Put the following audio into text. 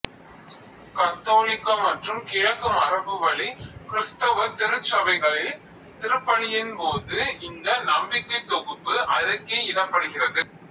கத்தோலிக்க மற்றும் கிழக்கு மரபுவழி கிறிஸ்தவ திருச்சபைகளில் திருப்பலியின் போது இந்த நம்பிக்கைத் தொகுப்பு அறிக்கையிடப்படுகிறது